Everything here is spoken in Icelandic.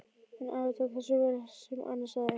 En afi tók þessu vel sem Anna sagði.